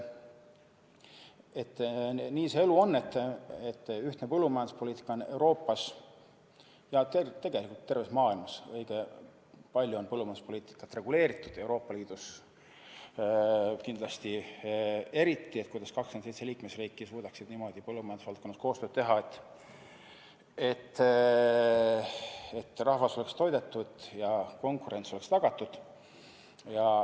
Nii see elu on, et ühtne põllumajanduspoliitika on Euroopas, ja tegelikult põllumajanduspoliitika terves maailmas, õige palju reguleeritud, eriti Euroopa Liidus, et 27 liikmesriiki suudaksid niimoodi põllumajandusvaldkonnas koostööd teha, et rahvas oleks toidetud ja konkurents oleks tagatud.